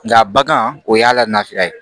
Nga bagan o y'a lafiya ye